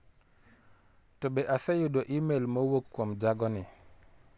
To be aseyudo imel ma owuok kuom jagoni?